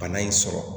Bana in sɔrɔ